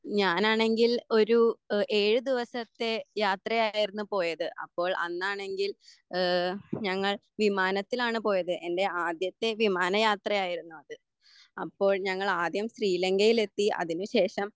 ഞാനാണെങ്കിൽ ഒരു ഏഴ് ദിവസത്തെ യാത്രയായിരുന്നു പോയത്. അപ്പോ അന്നാണെങ്കിൽ ഏഹ് ഞങ്ങൾ വിമാനത്തിലാണ് പോയത്. എൻ്റെ ആദ്യത്തെ വിമാന യാത്രയായിരുന്നു അത്. അപ്പോൾ ഞങ്ങൾ ആദ്യം ശ്രീലംങ്കയിലെത്തി. അതിന് ശേഷം